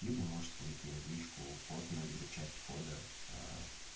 либо можешь скинуть мне в личку код но либо часть кода